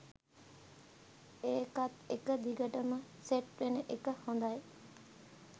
ඒකත් එක දිගටම සෙට් වෙන එක හොඳයි